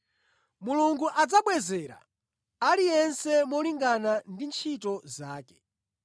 Mulungu adzabwezera aliyense molingana ndi ntchito zake.